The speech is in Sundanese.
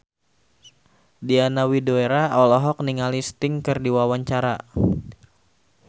Diana Widoera olohok ningali Sting keur diwawancara